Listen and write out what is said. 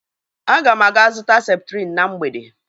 Ágà m aga zụta septrin na mgbede